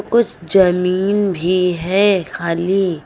कुछ जमीन भी है खाली।